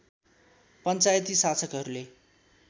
पञ्चायती शासकहरूले